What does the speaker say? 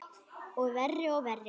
Verri og verri.